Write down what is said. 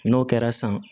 N'o kɛra san